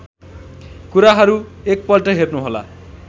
कुराहरू एकपल्ट हेर्नुहोला